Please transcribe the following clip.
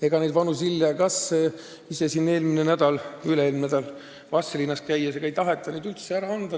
Ega neid vanu ZIL-e ja GAZ-e, mida ma ise üle-eelmine nädal Vastseliinas käies nägin, ei taheta üldse ära anda.